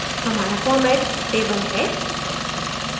हमारा format table है